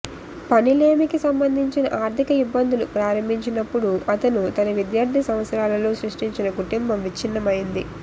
పని లేమికి సంబంధించిన ఆర్థిక ఇబ్బందులు ప్రారంభించినప్పుడు అతను తన విద్యార్థి సంవత్సరాలలో సృష్టించిన కుటుంబం విచ్ఛిన్నమైంది